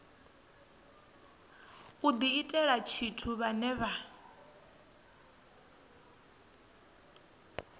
u diitela tshithu vhane vha